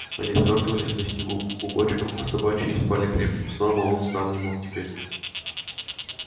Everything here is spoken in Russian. они свёртывались на снегу клубочком по собачьи и спали крепким сном а он сам не мог теперь